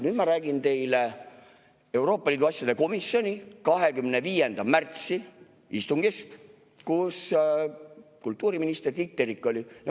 Nüüd ma räägin teile Euroopa Liidu asjade komisjoni 25. märtsi istungist, kus oli kultuuriminister Tiit Terik.